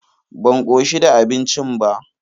Ban koshi da abincin ba.